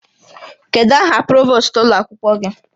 Kedu aha provost ụlọ akwụkwọ gị?